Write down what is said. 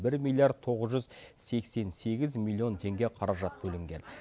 бір милиард тоғыз жүз сексен сегіз миллион теңге қаражат бөлінген